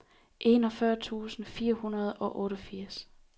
enogfyrre tusind fire hundrede og otteogfirs